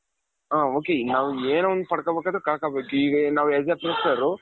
ಹ ok ನಾವ್ ಏನೋ ಒಂದು ಪಡಕೋಬೇಕಾದ್ರೆ ಕಳಕೊಬೇಕು ಈಗ ನಾವ್ as a fresher,